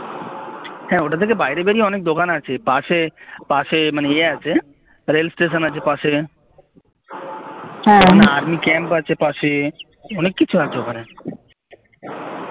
হ্যাঁ ওটা থেকে বাইরে বেরিয়ে অনেক দোকান আছে পাশে পাশে মানে ইয়ে আছে রেলস্টেশন আছে পাশে একটা army camp আছে পাশে অনেক কিছু আছে ওখানে